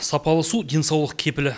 сапалы су денсаулық кепілі